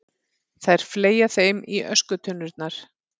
Þær fleygja þeim í öskutunnurnar.